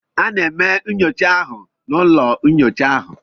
Ana eme nyocha ahụ n' ụlọ nnyocha ahụ.